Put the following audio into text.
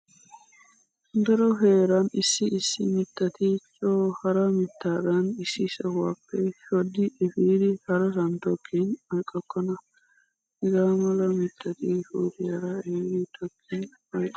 Daro heeran issi issi mittati coo hara mittaadan issi sohuwappe shoddi efidi harasan tokkin oyqqokkona. Hegaa mala mittati pootiyaara ehidi tokkin oyqqoosona.